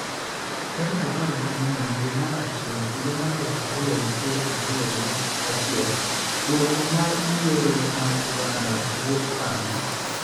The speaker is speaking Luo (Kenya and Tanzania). tarik apar gi ang'wen dwe mar achiel higa mar aluf ariyo gi piero ariyo gi achiel, dwoko mar yiero mar Uganda wuok karang'o?